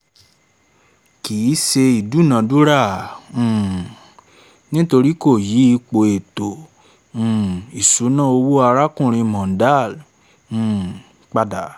kì í ṣe ìdúnadúrà um nítorí kò yí ipò ètò um ìṣúná owó arákùnrin mondal um pada